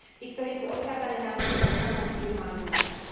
Tí, ktorí sú odkázaní na našu ochranu, by ju mali získať.